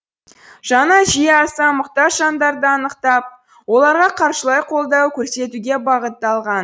жаңа жүйе аса мұқтаж жандарды анықтап оларға қаржылай қолдау көрсетуге бағытталған